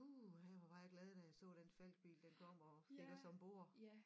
Uha hvor var jeg glad da jeg så den Falckbil den kom og fik os ombord